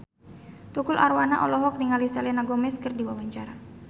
Tukul Arwana olohok ningali Selena Gomez keur diwawancara